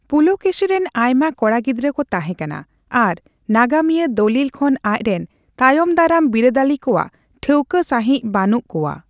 ᱯᱩᱞᱠᱮᱥᱤ ᱨᱤᱱ ᱟᱭᱢᱟ ᱠᱚᱲᱟ ᱜᱤᱫᱽᱨᱟᱹ ᱠᱚ ᱛᱟᱦᱮᱸᱠᱟᱱᱟ, ᱟᱨ ᱱᱟᱜᱟᱢᱤᱭᱟᱹ ᱫᱚᱞᱤᱞ ᱠᱷᱚᱱ ᱟᱪᱨᱮᱱ ᱛᱟᱭᱚᱢᱫᱟᱨᱟᱢ ᱵᱤᱨᱟᱹᱫᱟᱹᱞᱤ ᱠᱚᱣᱟᱜ ᱴᱷᱟᱹᱣᱠᱟᱹ ᱥᱟᱸᱦᱤᱡ ᱵᱟᱹᱱᱩᱜ ᱠᱚᱣᱟ ᱾